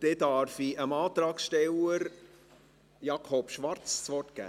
Dann darf ich dem Antragsteller Jakob Schwarz das Wort geben.